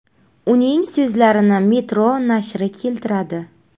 Uning so‘zlarini Metro nashri keltiradi .